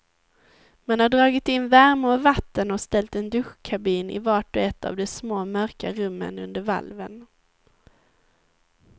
Man har dragit in värme och vatten och ställt en duschkabin i vart och ett av de små, mörka rummen under valven.